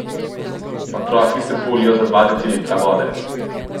Otroci se pulijo za dva decilitra vode.